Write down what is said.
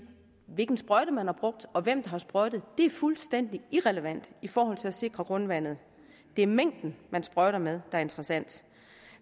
hvilken sprøjte man har brugt og hvem har sprøjtet er fuldstændig irrelevant i forhold til at sikre grundvandet det er mængden man sprøjter med er interessant